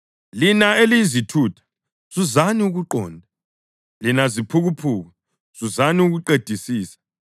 Lina eliyizithutha, zuzani ukuqonda; lina ziphukuphuku, zuzani ukuqedisisa.